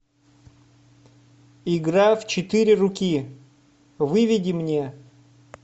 игра в четыре руки выведи мне